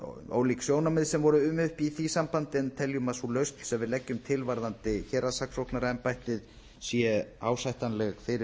ólík sjónarmið sem voru uppi í því sambandi en teljum að sú lausn sem við leggjum til varðandi héraðssaksóknaraembættið sé ásættanleg fyrir